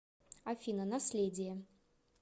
афина наследие